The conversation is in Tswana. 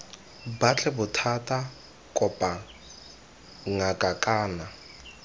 batle bothata kopa ngaka kana